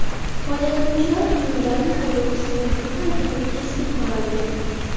Foydalanuvchilar Hyundai haydovchisining bu harakatini keskin qoralagan.